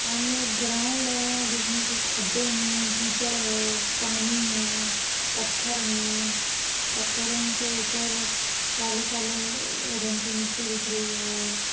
सामने एक ग्राउंड है जिसमे कुछ खड्डे है कीचड़ है पानी है पत्थर है पत्थरो के ऊपर काले-काले रंग की मिट्टी दिख रही है।